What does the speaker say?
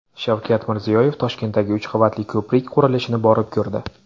Shavkat Mirziyoyev Toshkentdagi uch qavatli ko‘prik qurilishini borib ko‘rdi .